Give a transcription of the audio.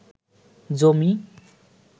জমি